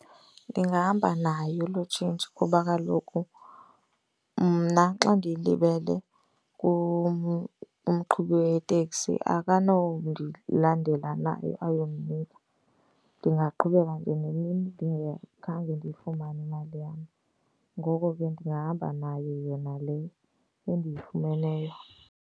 Ndingahamba nayo loo tshintshi kuba kaloku mna xa ndiyilibele umqhubi weteksi akanondilandela nayo ayondinika. Ndingaqhubeka nje nemini ndingakhange ndiyifumane imali yam, ngoko ke ndingahamba nayo yona le endiyifumeneyo